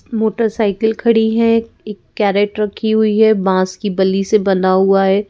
Motorcycle खड़ी है एक कैरेट रखी हुई है बांस की बल्ली से बंधा हुआ है।